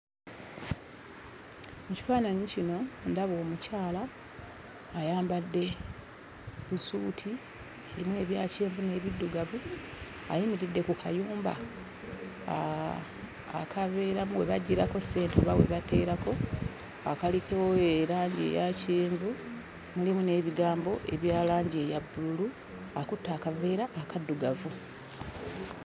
Mu kifaananyi kino ndaba omukyala ayambadde busuuti erimu ebya kyenvu n'ebiddugavu. Ayimiridde ku kayumba akabeeramu we baggyirako ssente oba we bateerako akaliko erangi eya kyenvu, mulimu n'ebigambo ebya langi eya bbululu; akutte akaveera akaddugavu.